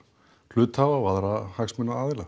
hluthafa og aðra hagsmunaaðila